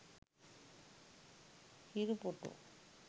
hiru photo